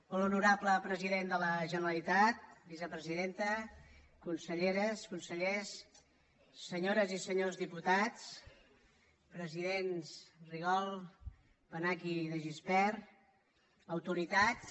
molt honorable president de la generalitat vicepresidenta conselleres consellers senyores i senyors diputats presidents rigol benach i de gispert autoritats